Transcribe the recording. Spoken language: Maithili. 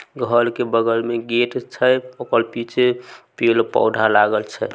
घर के बगल में गेट छै ओकर पीछे पेड़-पौधा लागल छै।